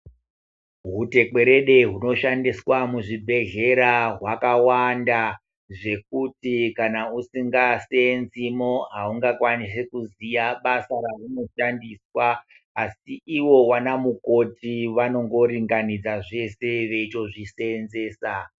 Hutekwerede hunoshandiswa muzvibhedhlera hwakawanda zvekuti kana usingaseenzimo haungakwanisi kuziya basa rahunoshandiswa, asi iwo wanamukoti vanongoringanidza zvese veitozviseenzesa.